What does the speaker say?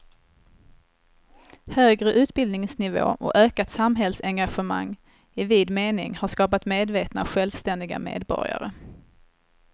Högre utbildningsnivå och ökat samhällsengagemang i vid mening har skapat medvetna och självständiga medborgare.